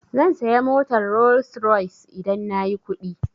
Zan saya motar Rolls-Royce idan nayi kuɗi.